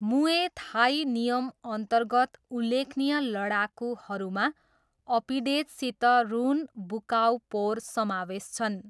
मुए थाई नियमअन्तर्गत उल्लेखनीय लडाकुहरूमा अपिडेज सित ह्रुन, बुकाऊ पोर समावेश छन्।